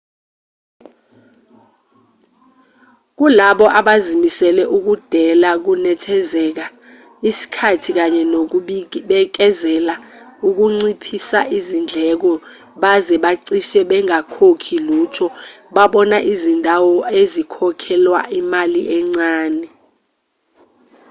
kulabo abazimisele ukudela ukunethezeka isikhathi kanye nokubikezeleka ukunciphisaizindleko baze bacishe bengakhokhi lutho babona izindawo ezikhokhelwa imali encane